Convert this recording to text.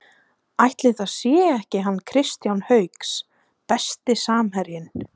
Ætli það sé ekki hann Kristján Hauks Besti samherjinn?